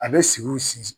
A bɛ sigi o sigi